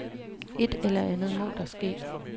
Et eller andet må der ske.